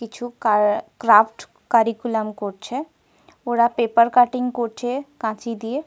কিছু car craft curriculum করছে। ওরা পেপার কাটিং করছে কাঁচি দিয়ে।